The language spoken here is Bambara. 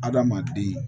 Adama kirin